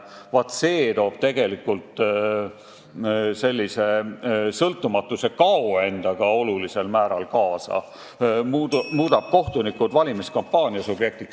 Vaat see toob tegelikult endaga kaasa olulisel määral sõltumatuse kadu ja muudab kohtunikud valimiskampaania subjektiks.